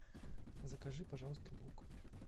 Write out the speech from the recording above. закажи пожалуйста лук